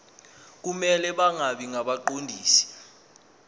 kumele bangabi ngabaqondisi